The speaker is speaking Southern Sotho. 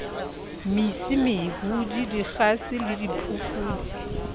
mesi mehudi dikgase le diphofudi